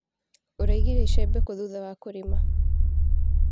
ũraigire icembe kũ thutha wa kũrĩma.